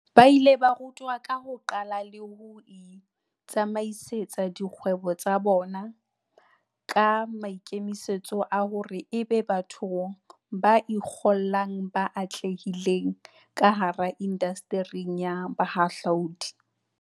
Ba ile ba rutwa ka ho iqalla le ho itsamaisetsa dikgwebo tsa bona, ka maikemisetso a hore ebe batho ba ikgollang ba atlehileng kahara indasteri ya bohahlaudi.